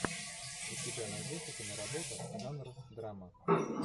у тебя найдется киноработа жанра драма